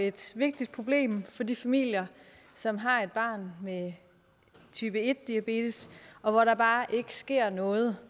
et vigtigt problem for de familier som har et barn med type en diabetes og hvor der bare ikke sker noget